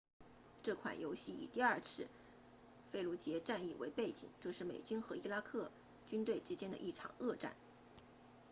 这款游戏以第二次费卢杰 fallujah 战役为背景这是美军和伊拉克军队之间的一场恶战